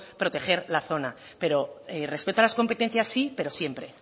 proteger la zona pero respecto a las competencias sí pero siempre